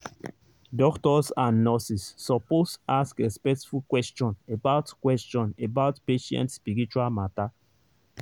doctors and nurses suppose ask respectful question about question about patient spiritual matter.